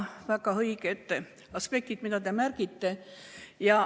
Väga õiged aspektid, mida te märgite.